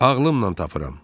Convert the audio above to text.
Ağlımla tapıram.